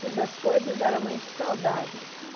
Todas as coisas eram muito saudáveis.